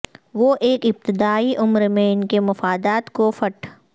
وہ ایک ابتدائی عمر میں ان کے مفادات کو فٹ